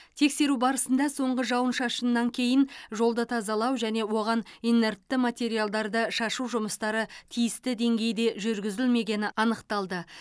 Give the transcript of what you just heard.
тексеру барысында соңғы жауын шашыннан кейін жолды тазалау және оған инертті материалдарды шашу жұмыстары тиісті деңгейде жүргізілмегені анықталды